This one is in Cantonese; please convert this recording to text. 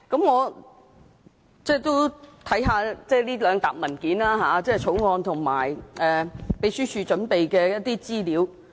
我也看過這些文件，包括《條例草案》和秘書處準備的一些資料。